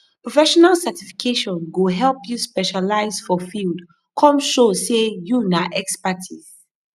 professional certification go help you specialize for field come show say you na expertise